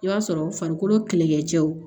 I b'a sɔrɔ farikolo kɛlɛkɛcɛw